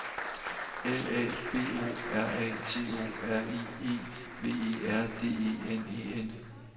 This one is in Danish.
L A B O R A T O R I E V E R D E N E N